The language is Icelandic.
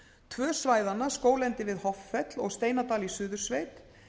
tvö svæðanna skóglendi við hoffell og steinadal í suðursveit